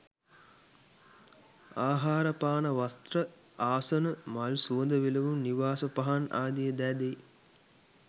ආහාර පාන වස්ත්‍ර ආසන මල් සුවඳ විලවුන් නිවාස පහන් ආදී දෑ දෙයි.